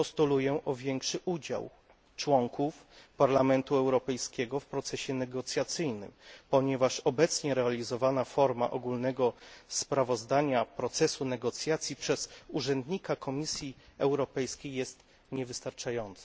Postuluję o większy udział członków Parlamentu Europejskiego w procesie negocjacyjnym, ponieważ obecnie realizowana forma zdawania ogólnego sprawozdania z procesu negocjacji przez urzędnika Komisji Europejskiej jest niewystarczająca.